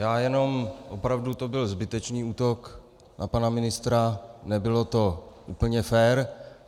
Já jenom - opravdu to byl zbytečný útok na pana ministra, nebylo to úplně fér.